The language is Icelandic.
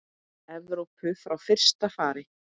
Evrópu frá fyrsta fari.